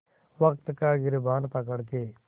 वक़्त का गिरबान पकड़ के